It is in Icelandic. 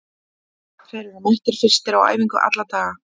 Þeir eru mættir fyrstir á æfingu alla daga.